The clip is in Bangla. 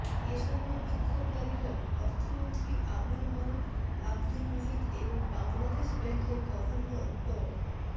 এ সময় বিক্ষোভকারীরা অর্থমন্ত্রী আবুল মাল আবদুল মুহিত এবং বাংলাদেশ ব্যাংকের গভর্নর ড